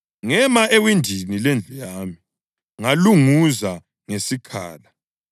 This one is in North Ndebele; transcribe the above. Ngema ewindini lendlu yami ngalunguza ngesikhala.